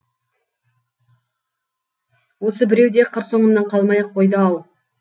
осы біреу де қыр соңымнан қалмай ақ қойды ау